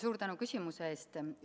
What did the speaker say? Suur tänu küsimuse eest!